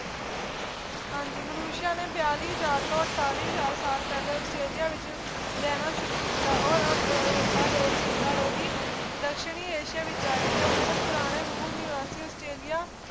ਹਾਂਜੀ ਮਨੁਸ਼ਿਆ ਨੇ ਬਿਆਲੀ ਹਜ਼ਾਰ ਤੋਂ ਅੜਤਾਲੀ ਹਜ਼ਾਰ ਸਾਲ ਪਹਿਲੇ ਆਸਟ੍ਰੇਲੀਆ ਵਿੱਚ ਵਿੱਚ ਰਹਿਣਾ ਸ਼ੁਰੂ ਕੀਤਾ ਔਰ ਰੋ ਅਹ ਆਰੋਪੀ ਰੋਹਿਤ ਦੱਖਣੀ ਏਸ਼ੀਆ ਦੇ ਵਿੱਚ ਆਏ ਤੇ ਉਹਨਾਂ ਨੇ ਪੁਰਾਣੇ ਮੁਨੀਵਾਸੀਆਂ ਆਸਟ੍ਰੇਲੀਆ